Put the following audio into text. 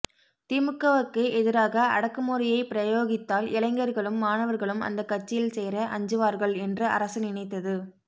திமுகவுக்கு எதிராக அடக்குமுறையை பிரயோகித்தால் இளைஞர்களும் மாணவர்களும் அந்தக் கட்சியில் சேர அஞ்சுவார்கள் என்று அரசு நினைத்தது